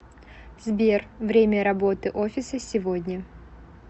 сбер время работы офиса сегодня